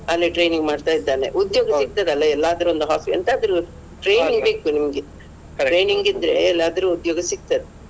ಅಲ್ಲಿ training ಮಾಡ್ತಾ ಇದ್ದಾನೆ ಉದ್ಯೋಗ ಸಿಗ್ತದಲ್ಲ ಎಲ್ಲಾದ್ರೂ ಒಂದು ಎಂತಾದ್ರೂ training ಬೇಕು ನಿಮ್ಗೆ training ಇದ್ರೆ ಎಲ್ಲಾದ್ರು ಉದ್ಯೋಗ ಸಿಗ್ತದೆ.